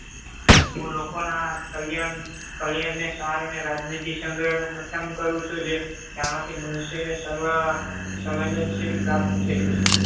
હું લોકોના કલ્યાણ કલ્યાણને સાર અને રાજનીતિ સંગ્રહનું કથન કરું છું. જે જાણવાથી મનુષ્યને સર્વ સંવેદનશીલ પ્રાપ્ત થયું છે.